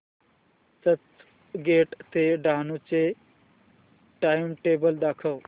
चर्चगेट ते डहाणू चे टाइमटेबल दाखव